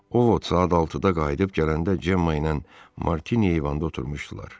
Ovod saat 6-da qayıdıb gələndə Cemma ilə Martini eyvanda oturmuşdular.